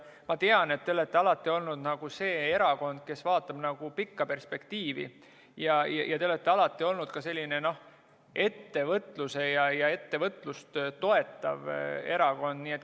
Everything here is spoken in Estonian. Ma tean, et te olete alati olnud see erakond, kes vaatab pikka perspektiivi, ja te olete alati olnud ka ettevõtlust toetav erakond.